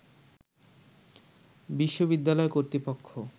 বিশ্ববিদ্যালয় কর্তৃপক্ষ